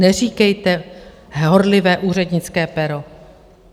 Neříkejte "horlivé úřednické pero".